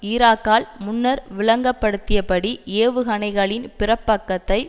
ஈராக்கால் முன்னர் விளங்கப்படுத்தியபடி ஏவுகணைகளின் பிற்பக்கத்தை